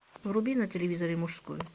вруби на телевизоре мужской